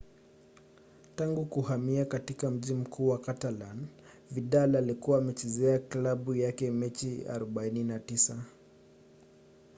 tangu kuhamia katika mji mkuu wa catalan vidal alikuwa amechezea klabu yake michezo 49